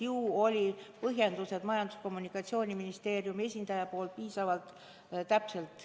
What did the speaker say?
Ju olid Majandus- ja Kommunikatsiooniministeeriumi esindaja antud põhjendused piisavalt täpsed.